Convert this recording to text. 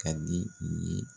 Ka di i ye